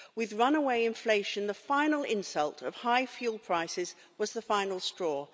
With runaway inflation, the final insult of high fuel prices was the final straw.